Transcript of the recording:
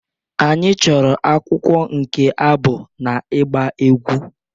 Anyị chọrọ akwụkwọ nke abụ na ịgba egwú